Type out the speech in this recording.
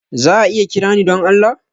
Za a iya kira ni don Allah?